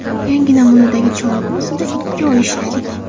Yangi namunadagi cholg‘u ustida ikki oy ishladik.